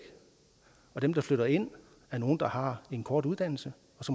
og dem der flytter ind er nogle der har en kort uddannelse